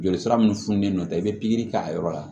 Joli sira mun fununen don i bɛ pikiri k'a yɔrɔ la